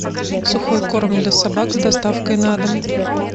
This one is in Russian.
сухой корм для собак с доставкой на дом